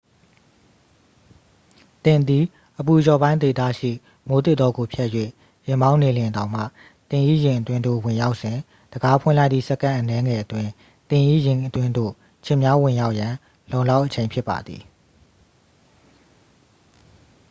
သင်သည် အပူလျော့ပိုင်းဒေသရှိ မိုးသစ်တောကို ဖြတ်၍ ယာဉ်မောင်းနှင်နေလျှင်တောင်မှ သင်၏ယာဉ်အတွင်းသို့ ဝင်ရောက်စဉ် တံခါးဖွင့်လိုက်သည့် စက္ကန့်အနည်းငယ်အတွင်း သင်၏ယာဉ်အတွင်းသို့ ခြင်များဝင်ရောက်ရန် လုံလောက်အချိန် ဖြစ်ပါသည်